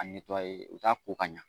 A o t'a ko ka ɲa,